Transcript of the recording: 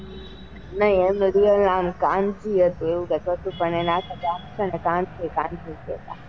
ની એમનું નામ real કાનજી હતું પણ પણ એમને આખું ગામ કાન કાન થી જ કેતા.